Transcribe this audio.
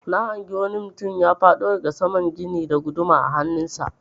Na hangi wani mutum ya faɗo daga saman gini da guduma a hannun sa.